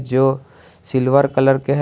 जो silver colour के है।